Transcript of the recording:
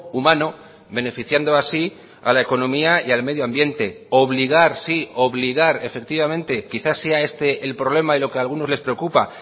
humano beneficiando así a la economía y al medioambiente obligar sí obligar efectivamente quizás sea este el problema y lo que a algunos les preocupa